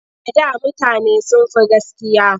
A da mutane sun fi gaskiya.